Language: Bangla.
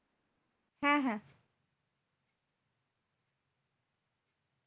হ্যাঁ হ্যাঁ